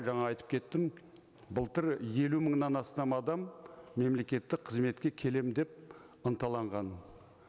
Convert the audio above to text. жаңа айтып кеттім былтыр елу мыңнан астам адам мемлекеттік қызметке келемін деп ынталанған